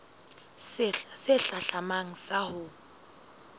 sehla se hlahlamang sa ho